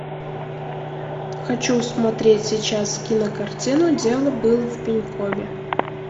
хочу смотреть сейчас кинокартину дело было в пенькове